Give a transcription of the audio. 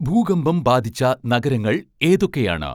ഭൂകമ്പം ബാധിച്ച നഗരങ്ങൾ ഏതൊക്കെയാണ്